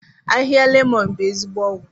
Ahịhịa lemon bụ ezigbo ọgwụ.